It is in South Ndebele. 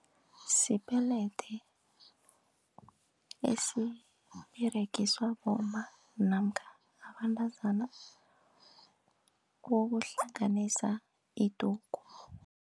Sipelede esiberegiswa bomma namkha abentazana ukuhlanganisa idugu.